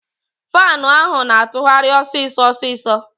Faanu ahụ na-atụgharị ọsịsọ ọsịsọ.